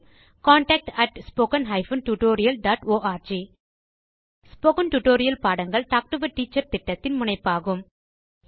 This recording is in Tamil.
contactspoken tutorialorg ஸ்போகன் டுடோரியல் பாடங்கள் டாக் டு எ டீச்சர் திட்டத்தின் முனைப்பாகும்